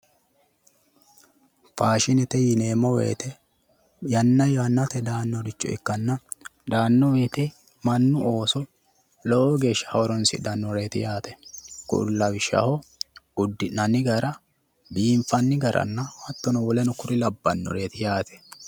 Faashinete yineemmo woyte yanna yannate daanoricho ikkanna ,daano woyte mannu ooso lowo geeshsha horonsidhanoreti yaate kuri lawishshaho udi'nanni gara, biinfanni garanna hattono wole labbanoreti yaate.